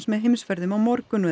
með Heimsferðum á morgun